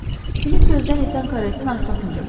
Filip gözdən itən karetin arxasınca baxdı.